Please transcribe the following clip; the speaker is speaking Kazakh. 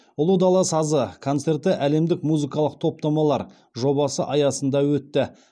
ұлы дала сазы концерті әлемдік музыкалық топтамалар жобасы аясында өтті